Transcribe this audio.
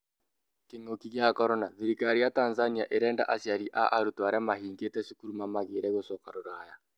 kĩng'ũki gĩa Korona: thirikari ya Tanzania irĩnda aciari a arutwo arĩa mahingĩte cukuru mamagirĩe gũcoka rũraya